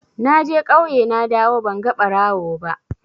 Naje ƙauye nadawo banga ɓarawo ba.